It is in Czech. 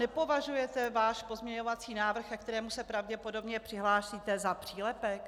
Nepovažujete váš pozměňovací návrh, ke kterému se pravděpodobně přihlásíte, za přílepek?